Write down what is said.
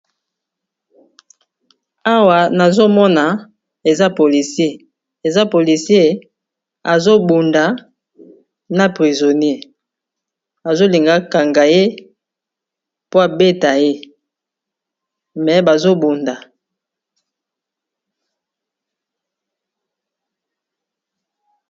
Awa nazomona eza polisier eza polisier azobunda na prizonier azolingakangaye po abeta ye me bazobunda.